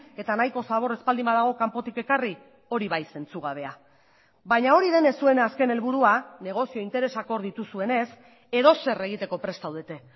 eta nahiko zabor ez baldin badago kanpotik ekarri hori bai zentzugabea baina hori denez zuen azken helburua negozio interesak hor dituzuenez edozer egiteko prest zaudete